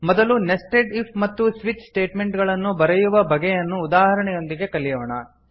ಮೊದಲು nested if ಮತ್ತು switch statement ಗಳನ್ನು ಬರೆಯುವ ಬಗೆಯನ್ನು ಉದಾಹರಣೆಯೊಂದಿಗೆ ಕಲಿಯೋಣ